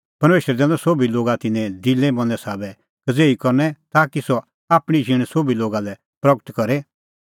परमेशरै दैनअ सोभी लोगा तिन्नें दिला मनें साबै कज़ेही करनै ताकि सह आपणीं झींण सोभी लोगा लै प्रगट करे